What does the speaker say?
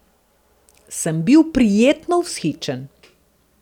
Sem bil prijetno vzhičen!